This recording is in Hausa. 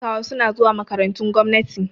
Yaran talakawa suna zuwa makarantun gwamnati